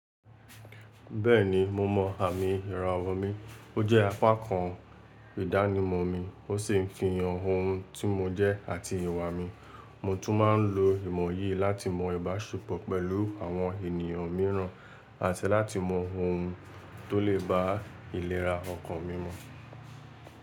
Bẹ́ẹ̀ni, mo mọ àmì ìrawo mi. Ó jẹ́ apá kan ìdánimọ̀ mi, ó sì ń fi hàn ohun tí mo jẹ́ àti ìwà mi. Mo tún máa ń lo ìmọ̀ yìí láti mọ ibàṣepọ̀ pẹ̀lú àwọn ènìyàn mìíràn àti láti mọ ohun tó lè ba ìlera ọkàn mi mu.